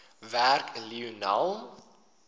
werk lionel